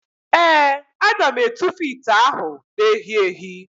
Ee, aga m etufu ite ahụ na-èhí èhí.